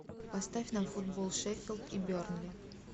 поставь нам футбол шеффилд и бернли